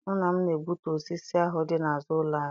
Nna m na-egbutu osisi ahụ dị n'azụ ụlọ anyị.